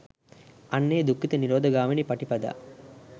අන්න ඒ දුක්ඛ නිරෝධ ගාමිනී පටිපදා